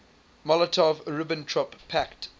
molotov ribbentrop pact